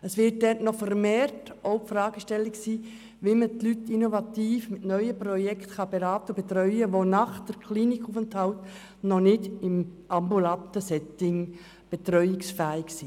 Es wird sich dort vermehrt die Frage stellen, wie man Leute auf innovative Weise beraten und betreuen kann, die nach einem Klinikaufenthalt noch nicht in einem ambulanten Setting betreuungsfähig sind.